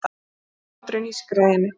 Hláturinn ískraði í henni.